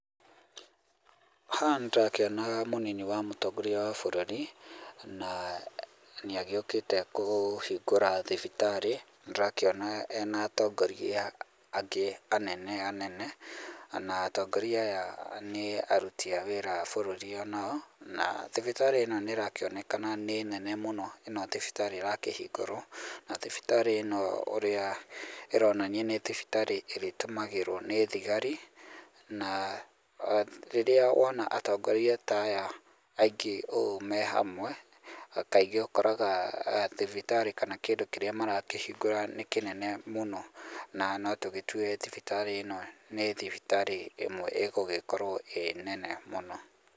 Haha nĩndĩrakĩona mũnini wa mũtongoria wa bũrũri na nĩ agĩũkĩte kũhingũra thibitarĩ. Nĩndĩrakĩona ena atongoria angĩ anene anene na atongoria aya nĩ aruti a wĩra a bũrũri onao na thibitarĩ ĩno nĩ ĩrakĩonekana nĩ nene mũno, ĩno thibitarĩ ĩrakĩhingũrwo na thibitarĩ ĩno ũrĩa ĩronania nĩ thibitarĩ ĩrĩtũmagĩrwo nĩ thigari na rĩrĩa wona atongoria ta aya aingĩ ũũ mehamwe, kaingĩ ũkoraga thibitarĩ kana kĩndũ kĩrĩa marakĩhingũra nĩ kĩnene mũno na no tũgĩtue thibitarĩ ĩno nĩ thibitarĩ ĩmwe ĩgũgĩkorwo ĩ nene mũno.